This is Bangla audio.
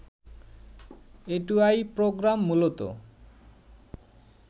এটুআই প্রোগ্রাম মূলত